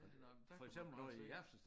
Ja nåh men der kan man bare se